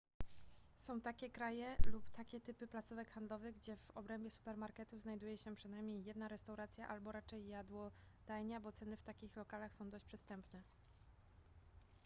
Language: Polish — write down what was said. są takie kraje lub takie typy placówek handlowych gdzie w obrębie supermarketu znajduje się przynajmniej jedna restauracja albo raczej jadłodajnia bo ceny w takich lokalach są dość przystępne